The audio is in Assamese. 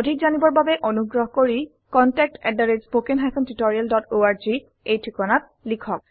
অধিক জানিবৰ বাবে অনুগ্ৰহ কৰি contactspoken tutorialorg এই ঠিকনাত লিখক